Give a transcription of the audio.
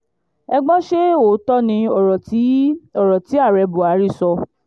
ẹ gbọ́ ṣe òótọ́ ni ọ̀rọ̀ tí ọ̀rọ̀ tí ààrẹ buhari sọ